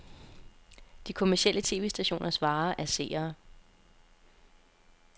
De kommercielle tv-stationers vare er seere.